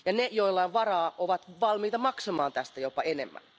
Ne, joilla on varaa, ovat valmiita maksamaan tästä jopa enemmän.